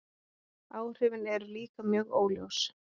Áhrifin eru líka mjög óljós.